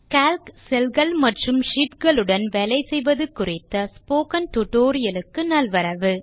Calc - cell கள் மற்றும் sheet களுடன் வேலை செய்வது குறித்த ஸ்போக்கன் டியூட்டோரியல் க்கு நல்வரவு